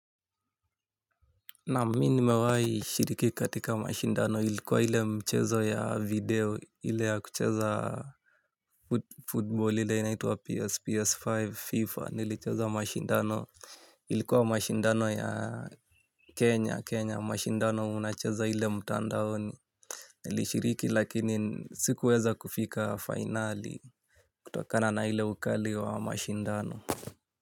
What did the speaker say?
Naam mimi nimewai shiriki katika mashindano ilikuwa ile mchezo ya video ile ya kucheza Football ile inaitwa PS, PS5, FIFA nilicheza mashindano. Ilikuwa mashindano ya Kenya, Kenya mashindano unacheza ile mtandaoni. Nilishiriki lakini sikuweza kufika finali kutokana na ile ukali wa mashindano Muzika.